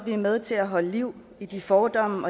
vi er med til at holde liv i de fordomme